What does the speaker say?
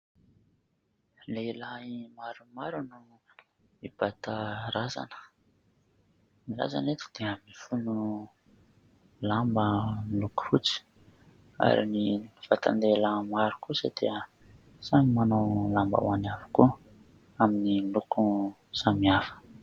Lehilahy maromaro no mibata razana; ny razana eto dia mifono lamba miloko fotsy ary ny vatan-dehilahy maro kosa dia samy manao lambahoany avokoa amin'ny loko samihafa.